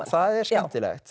það er skemmtilegt